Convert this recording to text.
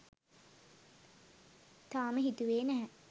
තාම හිතුවේ නැහැ